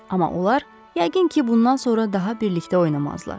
Amma onlar yəqin ki, bundan sonra daha birlikdə oynamazlar.